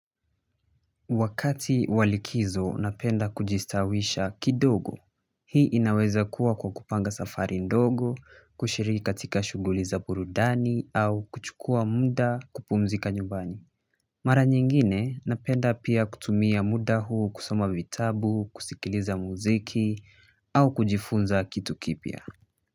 Wakati wa likizo, napenda kujistawisha kidogo, hii inaweza kuwa kwa kupanga safari ndogo, kushiriki katika shughuli za burudani, au kuchukua muda kupumzika nyumbani. Mara nyingine, napenda pia kutumia muda huu kusoma vitabu, kusikiliza muziki, au kujifunza kitu kipya.